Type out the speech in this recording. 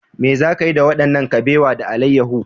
Me za ki yi da wannan kabewa da alayyahu?